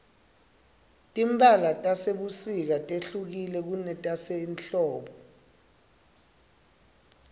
timphala tasebusika tehlukile kunetase hldbo